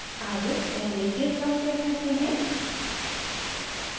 अब पहले git log check करते हैं